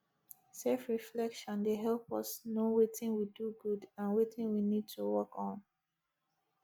selfreflection dey help us know wetin we do good and wetin we need to work on